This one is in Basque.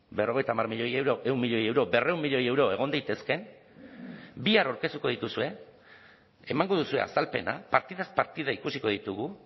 berrogeita hamar milioi euro ehun milioi euro berrehun milioi euro egon daitezkeen bihar aurkeztuko dituzue emango duzue azalpena partidaz partida ikusiko ditugu